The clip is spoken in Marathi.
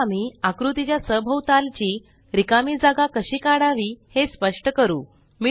आता आम्ही आकृती च्या सभोवतालची रिकामी जागा कशी काढावी हे स्पष्ट करू